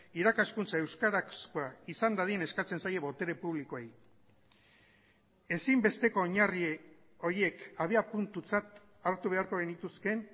irakaskuntza euskarazkoa izan dadin eskatzen zaie botere publikoei ezinbesteko oinarri horiek abiapuntutzat hartu beharko genituzkeen